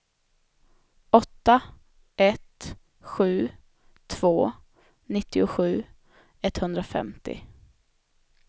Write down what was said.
åtta ett sju två nittiosju etthundrafemtio